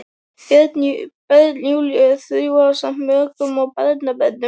Börn Júlíu þrjú ásamt mökum og barnabörnum.